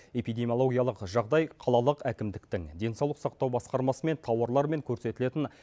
эпидемиологиялық жағдай қалалық әкімдіктің денсаулық сақтау басқармасы мен тауарлармен көрсетілетін